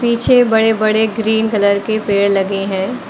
पीछे बड़े बड़े ग्रीन कलर के पेड़ लगे है।